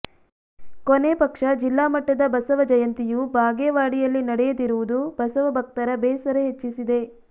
ಕೊನೆ ಪಕ್ಷ ಜಿಲ್ಲಾ ಮಟ್ಟದ ಬಸವ ಜಯಂತಿಯೂ ಬಾಗೇವಾಡಿಯಲ್ಲಿ ನಡೆಯದಿರುವುದು ಬಸವ ಭಕ್ತರ ಬೇಸರ ಹೆಚ್ಚಿಸಿದೆ